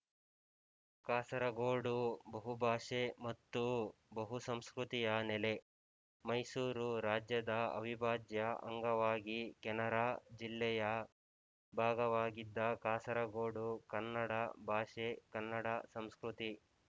ಕಾಸರಗೋಡು ಬಹುಭಾಷೆ ಮತ್ತು ಬಹುಸಂಸ್ಕೃತಿಯ ನೆಲ ಮೈಸೂರು ರಾಜ್ಯದ ಅವಿಭಾಜ್ಯ ಅಂಗವಾಗಿ ಕೆನರಾ ಜಿಲ್ಲೆಯ ಭಾಗವಾಗಿದ್ದ ಕಾಸರಗೋಡು ಕನ್ನಡ ಭಾಷೆ ಕನ್ನಡ ಸಂಸ್ಕೃತಿ